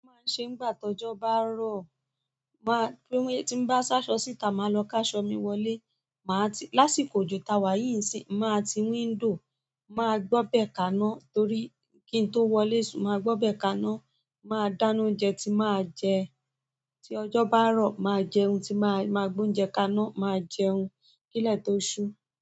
Ma ṣe ń gbà tọ́jọ́ bá rọ̀, máa pé tí ń bá sáṣọ síta máa lọ káṣọ mi wọlé, máa tí lásìkò òjò ta wá yìí n sí máa ti window máa gbọ́bẹ̀ kaná torí kí n tó wọlé ṣùn máa gbọ́bẹ̀ kaná, máa dáná oúnjẹ tí máa jẹ, tí ọjọ́ bá rọ̀ máa jẹun, tí máa máa gbé oúnjẹ kaná, máa jẹun kílẹ̀ tó ṣú.